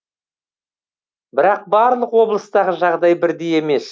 бірақ барлық облыстағы жағдай бірдей емес